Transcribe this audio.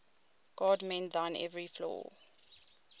god mend thine every flaw